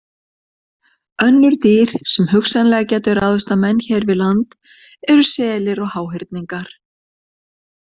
Önnur dýr sem hugsanlega gætu ráðist á menn hér við land eru selir og háhyrningar.